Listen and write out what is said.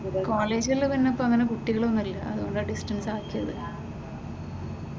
കോളേജിൽ തന്നെ ഇപ്പോ അങ്ങനെ കുട്ടികൾ ഒന്നുമില്ല അതുകൊണ്ടാ ഡിസ്റ്റൻസ് ആക്കിയത്.